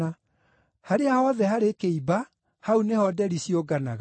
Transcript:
Harĩa hothe harĩ kĩimba, hau nĩho nderi ciũnganaga.